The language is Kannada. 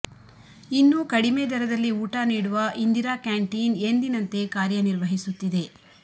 ಇನ್ನೂ ಕಡಿಮೆ ದರದಲ್ಲಿ ಊಟ ನೀಡುವ ಇಂದಿರಾ ಕ್ಯಾಂಟೀನ್ ಎಂದಿನಂತೆ ಕಾರ್ಯ ನಿರ್ವಹಿಸುತ್ತಿದೆ